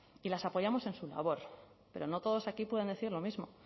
y las apoyamos en su labor pero no todos aquí pueden decir lo mismo